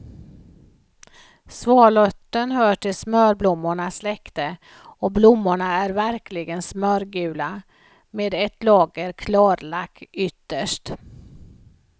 Svalörten hör till smörblommornas släkte och blommorna är verkligen smörgula med ett lager klarlack ytterst.